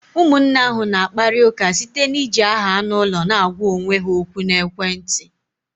Ụmụnne ahụ na-akpari ụka site na-iji aha anụ ụlọ na-agwa onwe ha ókwú na ekwentị.